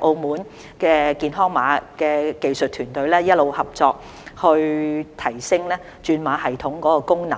澳門的健康碼技術團隊一直合作，提升轉碼系統的功能。